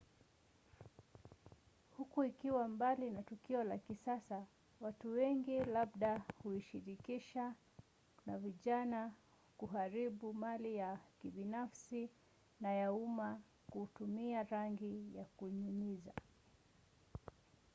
huku ikiwa mbali na tukio la kisasa watu wengi labda huishirikisha na vijana kuharibu mali ya kibinafsi na ya umma kutumia rangi ya kunyunyizia